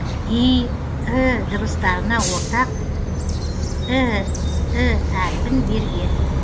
и і дыбыстарына ортақ і і әріпін берген